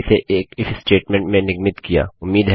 मैंने इसे एक इफ स्टेटमेंट स्टेट्मेन्ट में निगमित किया